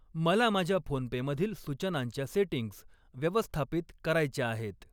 मला माझ्या फोनपे मधील सूचनांच्या सेटिंग्ज व्यवस्थापित करायच्या आहेत.